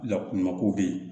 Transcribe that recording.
Lakanako bɛ yen